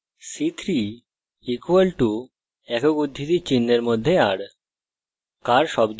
char c3 = একক উদ্ধৃতিচিহ্নের মধ্যে r